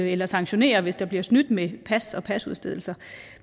eller sanktionere hvis der bliver snydt med pas og pasudstedelse